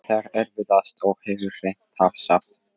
Það er erfiðast og hefur reynst tafsamt.